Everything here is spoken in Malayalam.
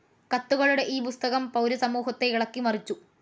കത്തുകളുടെ ഈ പുസ്തകം പൗരസമൂഹത്തെ ഇളക്കിമറിച്ചു.